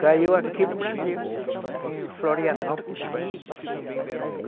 Caiu aqui no Brasil, em Florianópolis, parece.